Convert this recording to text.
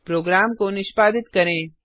programme को निष्पादित करें